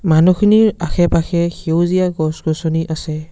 মানুহখিনিৰ আশে-পাশে সেউজীয়া গছ-গছনি আছে।